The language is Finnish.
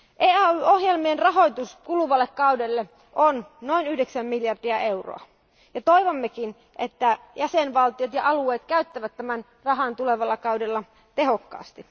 EAY ohjelmien rahoitus kuluvalle kaudelle on noin 9 miljardia euroa ja toivommekin, että jäsenvaltiot ja alueet käyttävät tämän rahan tulevalla kaudella tehokkaasti.